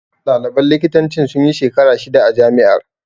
Ɗaliban likitancin sunyi shekara shida a jami'ar